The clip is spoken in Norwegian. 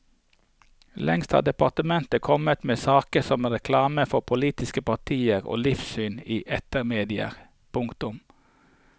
Lengst har departementet kommet med saken om reklame for politiske partier og livssyn i etermedier. punktum